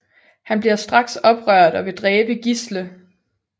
Han bliver straks oprørt og vil dræbe Gisle